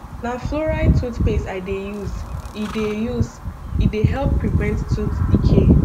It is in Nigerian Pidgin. na fluoride toothpaste i dey use e dey use e dey help prevent tooth decay